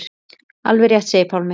Alveg rétt segir Pálmi.